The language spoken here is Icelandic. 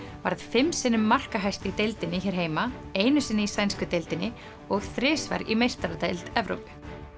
varð fimm sinnum markahæst í deildinni hér heima einu sinni í sænsku deildinni og þrisvar í meistaradeild Evrópu